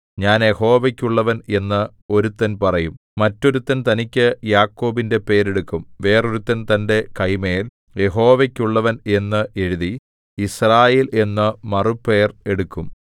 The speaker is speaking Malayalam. ഞാൻ യഹോവയ്ക്കുള്ളവൻ എന്ന് ഒരുത്തൻ പറയും മറ്റൊരുത്തൻ തനിക്കു യാക്കോബിന്റെ പേരെടുക്കും വേറൊരുത്തൻ തന്റെ കൈമേൽ യഹോവയ്ക്കുള്ളവൻ എന്ന് എഴുതി യിസ്രായേൽ എന്നു മറുപേർ എടുക്കും